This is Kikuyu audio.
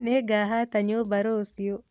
Nĩngahatata nyũmba rũciũ